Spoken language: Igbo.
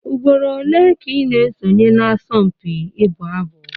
Ugboro ole ka ị na-esonye n'asọmpi ịbụ abụ?